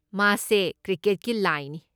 ꯃꯥꯁꯦ 'ꯀ꯭ꯔꯤꯀꯦꯠꯀꯤ ꯂꯥꯏ' ꯅꯤ꯫